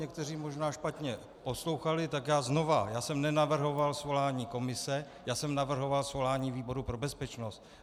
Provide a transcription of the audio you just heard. Někteří možná špatně poslouchali, tak já znovu: Já jsem nenavrhoval svolání komise, já jsem navrhoval svolání výboru pro bezpečnost.